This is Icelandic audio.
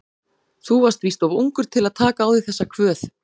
Þú varst víst of ungur til að taka á þig þessa kvöð.